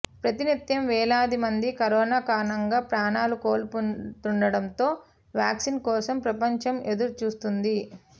ప్రతినిత్యం వేలాది మంది కరోనా కారణంగా ప్రాణాలు కోల్పోతుండటంతో వ్యాక్సిన్ కోసం ప్రపంచం ఎదురుచూస్తోంది